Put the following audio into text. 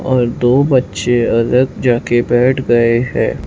और दो बच्चे अलग जाके बैठ गए हैं।